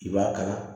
I b'a kala